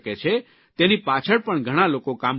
તેની પાછળ પણ ઘણા લોકો કામ કરી રહ્યા છે